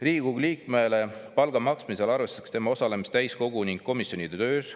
Riigikogu liikmele palga maksmisel arvestatakse tema osalemist täiskogu ning komisjonide töös.